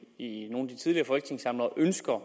i nogle af de tidligere folketingssamlinger ønsker at